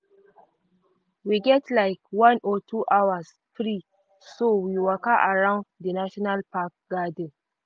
we get like one or two hours free so we waka around di national park gardens.